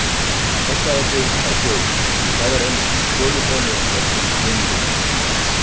Passaðu þig á þjófunum, því það var einu sinni stolið frá mér öllum peningnum mínum.